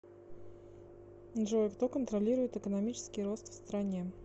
джой кто контролирует экономический рост в стране